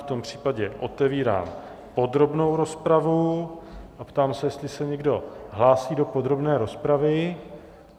V tom případě otevírám podrobnou rozpravu a ptám se, jestli se někdo hlásí do podrobné rozpravy.